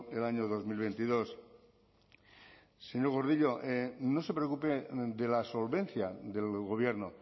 el año dos mil veintidós señor gordillo no se preocupe de la solvencia del gobierno